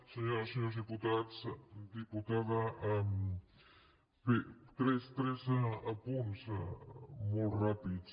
senyores i senyors diputats diputada bé tres apunts molt ràpids